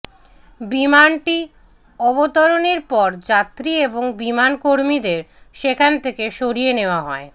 বিমানটি অবতরণের পর যাত্রী এবং বিমানকর্মীদের সেখান থেকে সরিয়ে নেওয়া হয়